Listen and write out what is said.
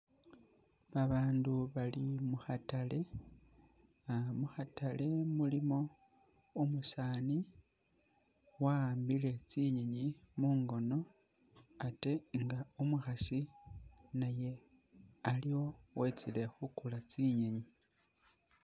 Abandu bali mukhatale, mukhatale mulimo umusaani wa'ambile tsinyinyi mungono ate nga umukhaasi naye aliwo wetsile khukula tsinyenyi